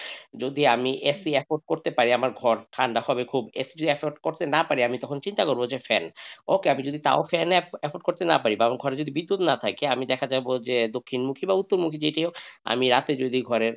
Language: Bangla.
যদি আমি AC effort করতে আমার ঘর ঠান্ডা হবে খুব AC effort jodi না করতে পারি আমি তখন চিন্তা করব ফ্যান ওকে আমি যদি তাও ফ্যান effort না করতে পারি ঘরে যদি বিদ্যুৎ না থাকে আমি দেখা যাবো যে দক্ষিণমুখী বা উত্তরমুখী যেটি হোক আমি রাতে যদি,